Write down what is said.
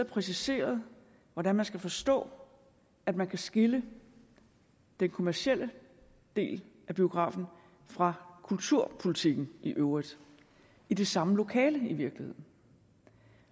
præciseret hvordan man skal forstå at man kan skille den kommercielle del af biografen fra kulturtilbuddene i øvrigt i det samme lokale i virkeligheden